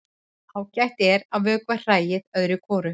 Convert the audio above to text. Ágætt er að vökva hræið öðru hvoru.